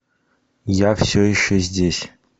я все еще здесь